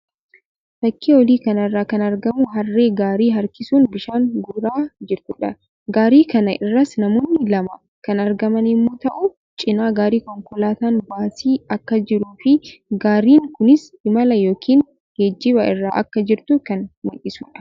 Fakkii olii kana irraa kan argamu Harree gaarii harkisuun bishaan guuraa jirtuudha. Gaarii kana irras namoonni lama kan argaman yammuu ta'u; cina gaarii konkolaataan baasii akka jiruu fi gaariin kunis imala yookiin geejjiba irra akka jirtu kan mul'isuudha.